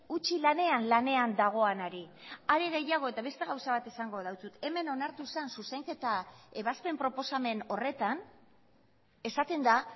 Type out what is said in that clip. utzi lanean lanean dagoenari are gehiago eta beste gauza bat esango dizut hemen onartu zen zuzenketa ebazpen proposamen horretan esaten da